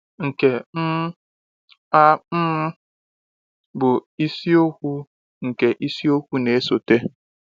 Nke um a um bụ isiokwu nke isiokwu na-esote.